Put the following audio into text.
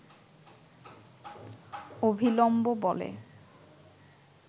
অভিলম্ব বলে